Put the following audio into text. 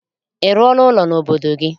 Ị rụọla ụlọ n'obodo gị?